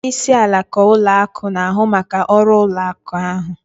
Ndị isi alaka ụlọ akụ na-ahụ maka ọrụ ụlọ akụ ahụ